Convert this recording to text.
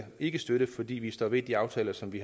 ikke støtte fordi vi står ved de aftaler som vi